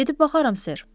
Gedib baxaram, Sir.